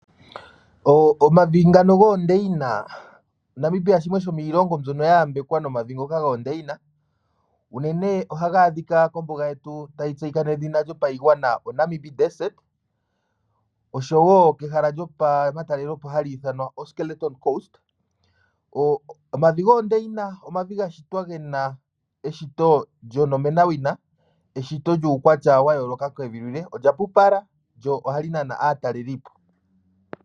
Omavi ngano goondeyina. Namibia osho shimwe shomiilongo mbyono ya yambekwa nomavi ngaka goondeyina. Unene ohaga adhika kombuga yetu tayi tseyika nedhina lyo payigwana oNamib Desert oshowo pehala lyo pa matalelipo hali ithanwa oSkeleton Coast. Omavi goondeyina omavi ga shitwa gena eshito lyonomenawina. Eshito lyuukwatya wa yooloka kevi lyilwe, olya pupala lyo ohali nana aatalelipo.